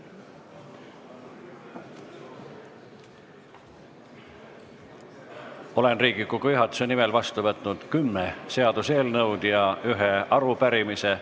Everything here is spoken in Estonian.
Olen Riigikogu juhatuse nimel vastu võtnud kümme seaduseelnõu ja ühe arupärimise.